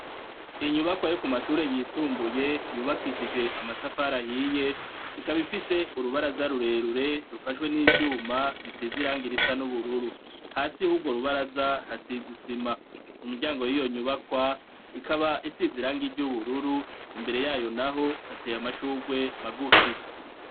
Inyubakwa yo ku mashuri yisumbuye yubakishije amatafari ahiye ikaba ifise urubaraza rurerure rufashwe n'ivyuma bisize irangi risa n'ubururu hasi yurwo rubaraza hasize isima mu miryango yiyo nyubakwa ikaba isize irangi ry'ubururu imbere yayo naho hateye amashurwe magufi.